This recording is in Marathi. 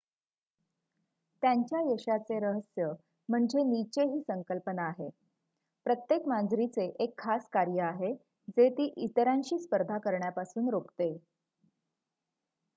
त्यांच्या यशाचे रहस्य म्हणजे निचे ही संकल्पना आहे प्रत्येक मांजरीचे एक खास कार्य आहे जे ती इतरांशी स्पर्धा करण्यापासून रोखते